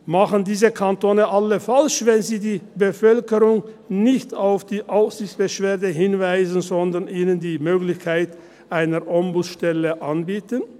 Machen es alle diese Kantone falsch, wenn sie die Bevölkerung nicht auf die Aufsichtsbeschwerde hinweisen, sondern ihnen die Möglichkeit einer Ombudsstelle anbieten?